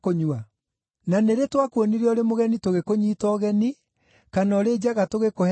Na nĩ rĩ twakuonire ũrĩ mũgeni tũgĩkũnyiita ũgeni, kana ũrĩ njaga tũgĩkũhe nguo?